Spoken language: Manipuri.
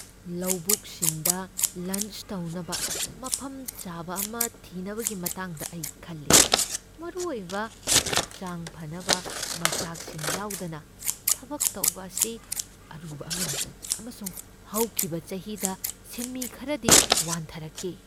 ꯂꯧꯕꯨꯛꯁꯤꯡꯗ ꯂꯟꯆ ꯇꯧꯅꯕ ꯃꯐꯝ ꯆꯥꯕ ꯑꯃ ꯊꯤꯅꯕꯒꯤ ꯃꯇꯥꯡꯗ ꯑꯩ ꯈꯜꯂꯤ ꯫ ꯃꯔꯨ ꯑꯣꯏꯕ ꯍꯛꯆꯥꯡ ꯐꯅꯕ ꯃꯆꯥꯛꯁꯤꯡ ꯌꯥꯎꯗꯅ ꯊꯕꯛ ꯇꯧꯕ ꯑꯁꯤ ꯑꯔꯨꯕ ꯑꯃꯅꯤ, ꯑꯃꯁꯨꯡ ꯍꯧꯈꯤꯕ ꯆꯍꯤꯗ ꯁꯤꯟꯃꯤ ꯈꯔꯗꯤ ꯋꯥꯟꯊꯔꯛꯈꯤ ꯫